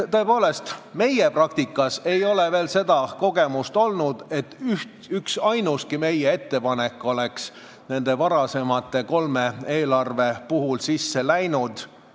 Tõepoolest, meie praktikas ei ole veel sellist kogemust olnud, sest üksainuski meie ettepanek varasema kolme eelarve puhul sisse ei läinud.